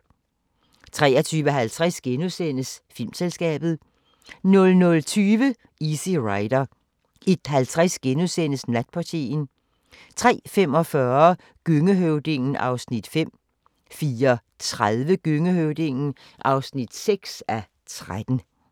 23:50: Filmselskabet * 00:20: Easy Rider 01:50: Natportieren * 03:45: Gøngehøvdingen (5:13) 04:30: Gøngehøvdingen (6:13)